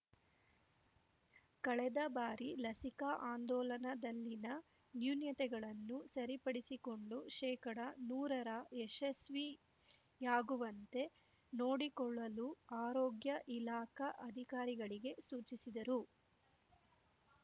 ಕಳೆದ ಬಾರಿ ಲಸಿಕಾ ಆಂದೋಲನದಲ್ಲಿನ ನ್ಯೂನತೆಗಳನ್ನು ಸರಿಪಡಿಸಿಕೊಂಡು ಶೇಕಡ ನೂರರ ಯಶಸ್ಸಿಯಾಗುವಂತೆ ನೋಡಿಕೊಳ್ಳಲು ಆರೋಗ್ಯ ಇಲಾಖಾ ಅಧಿಕಾರಿಗಳಿಗೆ ಸೂಚಿಸಿದರು